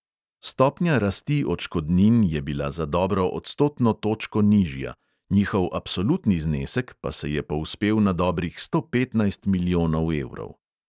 Stopnja rasti odškodnin je bila za dobro odstotno točko nižja, njihov absolutni znesek pa se je povzpel na dobrih sto petnajst milijonov evrov.